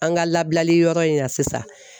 An ka labilali yɔrɔ in na sisan